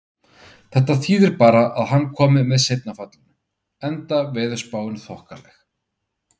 Þetta þýði bara að hann komi með seinna fallinu, enda veðurspáin þokkaleg.